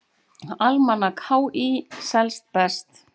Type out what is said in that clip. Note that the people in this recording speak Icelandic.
Almanak HÍ selst best